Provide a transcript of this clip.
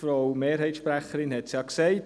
Frau Mehrheitssprecherin hat es ja gesagt: